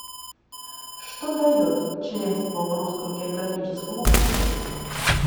что дает членство в русском географическом обществе